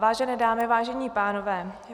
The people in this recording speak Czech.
Vážené dámy, vážení pánové.